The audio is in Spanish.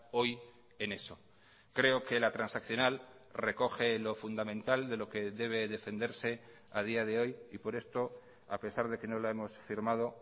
hoy en eso creo que la transaccional recoge lo fundamental de lo que debe defenderse a día de hoy y por esto a pesar de que no la hemos firmado